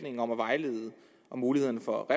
ind om at vejlede om mulighederne for